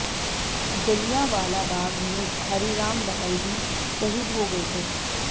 जलियांवाला बाग में हरिराम बहल भी शहीद हो गये थे